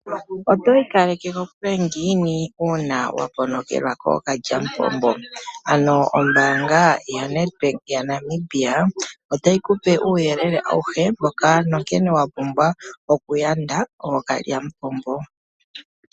Oto ikaleke kokule ngiini uuna waponokelwa kookalyamupombo? Ano ombanga yoNedbank yaNamibia otayi kupe uuyelele awuhe mboka wapumbwa okuyanda ookalyamupombo.